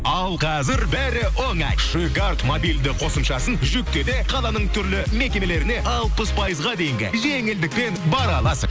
ал қазір бәрі оңай шиккард мобильді қосымшасын жүкте де қаланың түрлі мекемелеріне алпыс пайызға дейінгі жеңілдікпен бара аласың